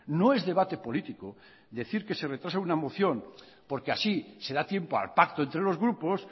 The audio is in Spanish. no es debate político decir que se retrasa una moción porque así se da tiempo al pacto entre los grupos